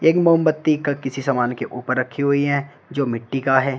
तीन मोमबत्ती का किसी सामान के ऊपर रखी हुई है जो मिट्टी का है।